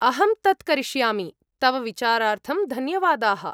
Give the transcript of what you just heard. अहं तत् करिष्यामि, तव विचारार्थं धन्यवादाः!